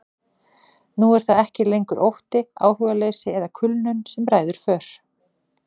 Nú er það ekki lengur ótti, áhugaleysi eða kulnun sem ræður för.